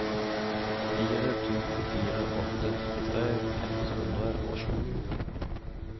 fire to fire åtte trettitre ett hundre og sju